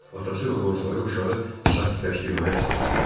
Atası və qonşuları uşağı sakitləşdirməyə çalışdılar.